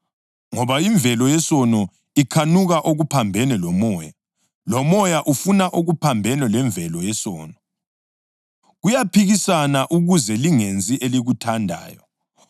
Ngoba imvelo yesono ikhanuka okuphambene loMoya, loMoya ufuna okuphambene lemvelo yesono. Kuyaphikisana ukuze lingenzi elikuthandayo.